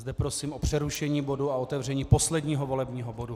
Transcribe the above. Zde prosím o přerušení bodu a otevření posledního volebního bodu.